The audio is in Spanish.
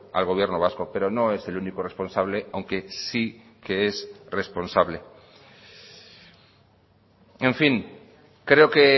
al gobierno vasco pero no es el único responsable aunque sí que es responsable en fin creo que